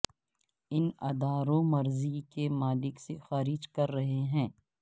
ان اداروں مرضی کے مالک سے خارج کر رہے ہیں